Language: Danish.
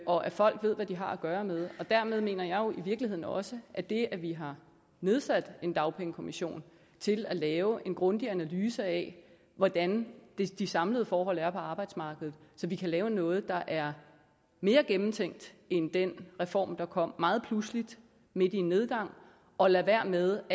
og at folk ved hvad de har at gøre med og dermed mener jeg jo i virkeligheden også at det at vi har nedsat en dagpengekommission til at lave en grundig analyse af hvordan de samlede forhold er på arbejdsmarkedet så kan lave noget der er mere gennemtænkt end den reform der kom meget pludseligt midt i en nedgang og lade være med